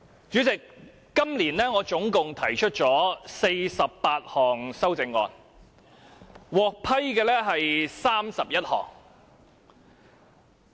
主席，我今年總共提出48項修正案，獲批准的有31項。